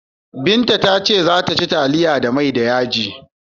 Binta ta ce za ta ci taliya da mai da yaji.